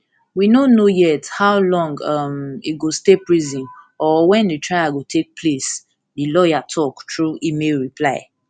we no know yet how long um e go stay prison or wen di trial go take place di lawyer tok through email reply